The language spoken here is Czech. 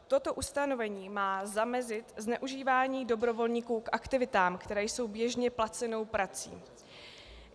Toto ustanovení má zamezit zneužívání dobrovolníků k aktivitám, které jsou běžně placenou prací.